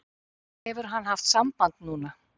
Hefur hann haft samband núna?